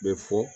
Bɛ fɔ